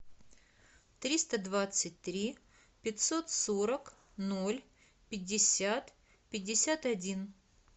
триста двадцать три пятьсот сорок ноль пятьдесят пятьдесят один